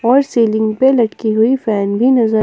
और सीलिंग पे लटकी हुई फैन भी नजर--